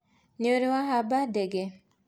nĩũrĩ wahamba ndege.